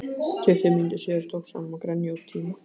Tuttugu mínútum síðar tókst honum að grenja út tíma